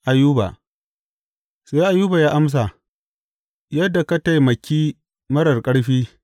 Ayuba Sai Ayuba ya amsa, Yadda ka taimaki marar ƙarfi!